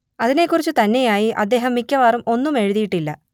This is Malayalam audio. അതിനെക്കുറിച്ച് തന്നെയായി അദ്ദേഹം മിക്കവാറും ഒന്നും എഴുതിയിട്ടില്ല